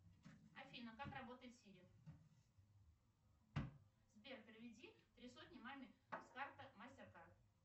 афина как работает сири сбер переведи три сотни маме с карты мастеркард